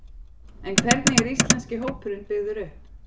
En hvernig er íslenski hópurinn byggður upp?